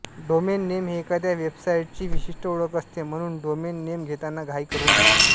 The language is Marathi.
डोमेन नेम हे एखाद्या वेबसाईटची विशिष्ट ओळख असते म्हणून डोमेन नेम घेताना घाई करू नये